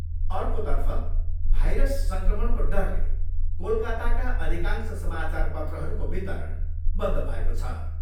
अर्कोतर्फ भाइरस सङ्क्रमणको डरले कोलकाताका अधिकांश सामाचारपत्रहरूको वितरण बन्द भएको छ।